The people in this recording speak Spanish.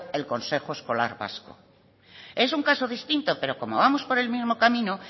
el consejo escolar vasco es un caso distinto pero como vamos por el mismo camino